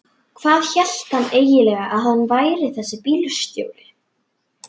Hvað hélt hann eiginlega að hann væri þessi bílstjóri.